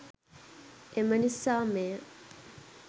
එම නිසා මෙය